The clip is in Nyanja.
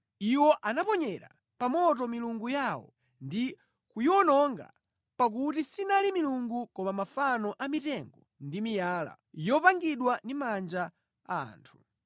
Iwo anaponyera pa moto milungu yawo ndi kuyiwononga pakuti sinali milungu koma mafano a mitengo ndi miyala, yopangidwa ndi manja a anthu.